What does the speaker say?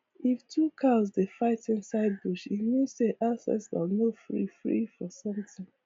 if two cows dey fight inside bush e means say ancestors no free free for something